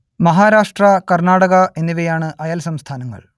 മഹാരാഷ്ട്ര കർണ്ണാടക എന്നിവയാണ് അയൽ സംസ്ഥാനങ്ങൾ